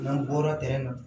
N'an bɔra tin na